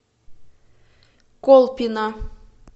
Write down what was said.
колпино